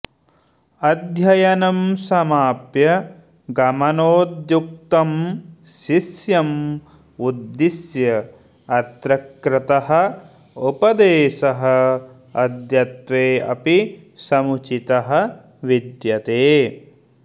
अध्ययनं समाप्य गमनोद्युक्तं शिष्यम् उद्दिश्य अत्र कृतः उपदेशः अद्यत्वे अपि समुचितः विद्यते